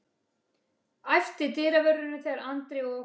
æpti dyravörðurinn þegar Andri og